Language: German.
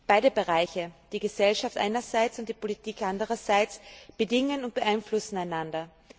Beide Bereiche, die Gesellschaft einerseits und die Politik andererseits, bedingen und beeinflussen einander.